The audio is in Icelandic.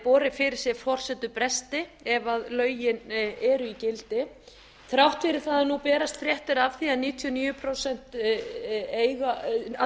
borið fyrir sig forsendubresti ef lögin eru í gildi þrátt fyrir það að nú berast fréttir af því að að